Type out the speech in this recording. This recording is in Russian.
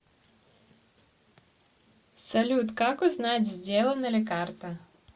салют как узнать сделана ли карта